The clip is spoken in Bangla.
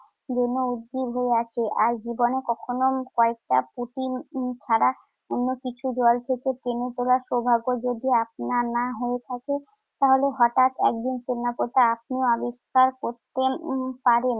যেন উদ্গ্রীব হয়ে আছে। আর জীবনে কখনো কয়েকটা পুঁটি উম ছাড়া অন্যকিছু জল থেকে টেনে তোলার সৌভাগ্য যদি আপনার না হয়ে থাকে তাহলে হঠাৎ একদিন টেরাকোটা আপনিও আবিষ্কার করতে পারেন।